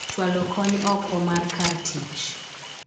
chwalo kony oko mar kar tich